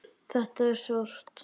Þetta er sárt.